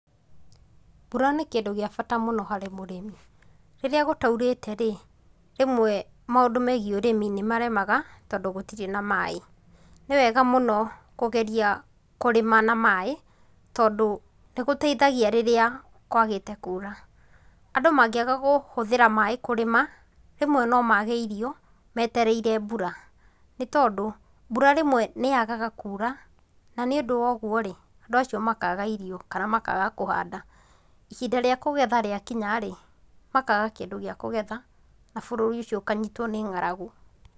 Mbura nĩ kĩndũ gĩa bata mũno harĩ mũrĩmi, rĩrĩa gũtaurĩte rĩ, rĩmwe maũndũ megiĩ ũrĩmi nĩ maremaga tondũ gũtirĩ na maĩ. Nĩ wega mũno kũgeria kũrĩma na maĩ tondũ nĩ gũteithagia rĩrĩa kwagĩte kuura. Andũ mangĩaga kũhũthithĩra maĩ kũrĩma, rĩmwe no maage irio metereire mbura, nĩ tondũ mbura rĩmwe nĩ yagaga kuura, na nĩundũ woguo rĩ, andũ acio makaga irio kana makaaga kũhanda. Ihinda rĩa kũgetha rĩakinya rĩ, makaaga kĩndũ gĩa kũgetha na bũrũri ũcio ũkanyitwo nĩ ng'aragu.